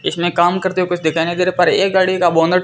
इसमें काम करते हुए कुछ दिखाई नहीं दे रहा पर एक गाड़ी का बोनट --